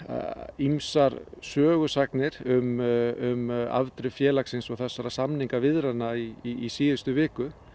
ýmsar sögusagnir um um afdrif félagsins og þessara samningaviðræðna í síðustu viku